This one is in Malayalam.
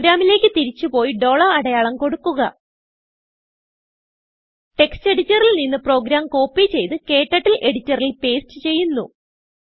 പ്രോഗ്രാമിലേക്ക് തിരിച്ച് പോയി അടയാളം കൊടുക്കുക textഎഡിറ്ററിൽ നിന്ന് പ്രോഗ്രാം കോപ്പി ചെയ്ത് ക്ടർട്ടിൽ എഡിറ്ററിൽ പേസ്റ്റ് ചെയ്യുന്നു